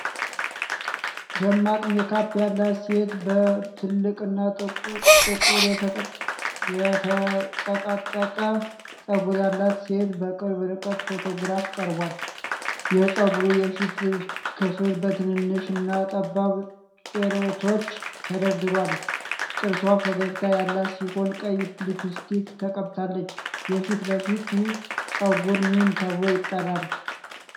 ደማቅ ሜካፕ ያላት ሴት በትልቅና ጥቁር የተጠቀጠቀ ፀጉር ያላት ሴት በቅርብ ርቀት ፎቶግራፍ ቀርቧል። የፀጉሩ የፊት ክፍል በትንንሽ እና ጠባብ ጭረቶች ተደርድሯል። ጥርሷ ፈገግታ ያላት ሲሆን ቀይ ሊፕስቲክ ተቀብታለች። የፊት ለፊቱ ፀጉር ምን ተብሎ ይጠራል?